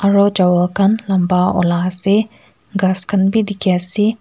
aro chawal khan lamba ola ase aro ghas khan bi dikhiase.